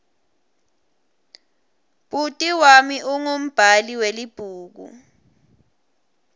bhuti wami ungumbhali welibhuku